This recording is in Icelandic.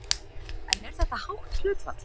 En er þetta hátt hlutfall?